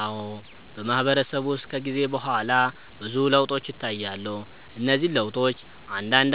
አዎ፣ በማህበረሰብ ውስጥ ከጊዜ በኋላ ብዙ ለውጦች ይታያሉ። እነዚህ ለውጦች አንዳንድ